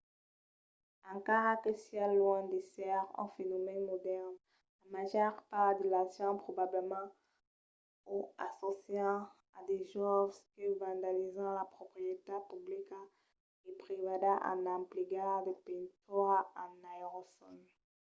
encara que siá luènh d’èsser un fenomèn modèrn la màger part de las gents probablament o assòcian a de joves que vandalizan la proprietat publica e privada en emplegar de pintura en aerosòl